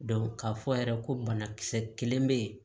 k'a fɔ yɛrɛ ko banakisɛ kelen be yen